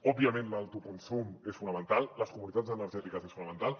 òbviament l’autoconsum és fonamental les comunitats energètiques són fonamentals